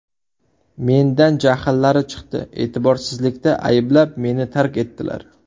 Mendan jahllari chiqdi, e’tiborsizlikda ayblab, meni tark etdilar.